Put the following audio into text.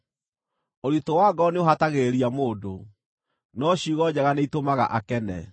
Ũritũ wa ngoro nĩũhatagĩrĩria mũndũ, no ciugo njega nĩitũmaga akene.